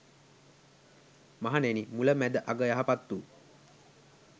මහණෙනි මුල, මැද අග යහපත් වු